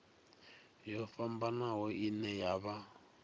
yo fhambanaho ine ya vha